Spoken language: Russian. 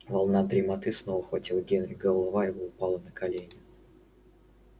волна дремоты снова охватила генри голова его упала на колени